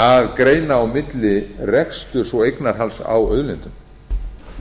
að greina á milli reksturs og eignarhalds á auðlindum